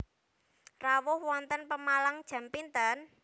Rawuh wonten Pemalang jam pinten?